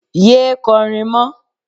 Yé é kọrin mọ́.